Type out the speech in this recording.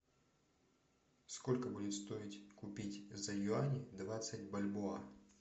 сколько будет стоить купить за юани двадцать бальбоа